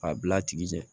A bila a tigi ɲɛ